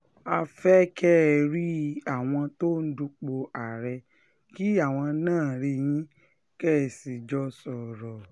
a fẹ́ kẹ́ ẹ rí àwọn tó ń dupò àárẹ̀ kí àwọn náà rí yín kẹ́ ẹ sì jọ sọ̀rọ̀